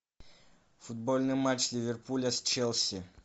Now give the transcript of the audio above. футбольный матч ливерпуля с челси